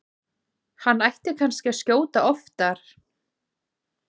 Hann ætti kannski að skjóta oftar?